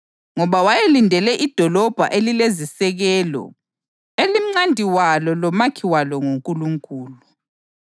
Ngoba wayelindele idolobho elilezisekelo, elimcandi walo lomakhi walo nguNkulunkulu.